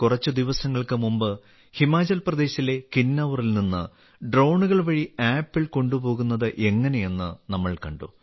കുറച്ച് ദിവസങ്ങൾക്ക് മുമ്പ് ഹിമാചൽ പ്രദേശിലെ കിന്നൌറിൽ നിന്ന് ഡ്രോണുകൾ വഴി ആപ്പിൾ കൊണ്ടുപോകുന്നത് എങ്ങനെയെന്ന് നമ്മൾ കണ്ടു